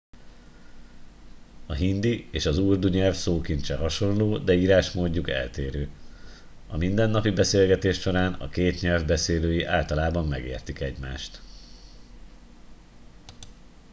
a hindi és az urdu nyelv szókincse hasonló de írásmódjuk eltérő a mindennapi beszélgetés során a két nyelv beszélői általában megértik egymást